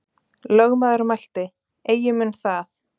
Lögmaður mælti: Eigi mun það.